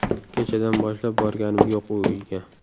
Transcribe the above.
Kechadan boshlab borganim yo‘q u uyga.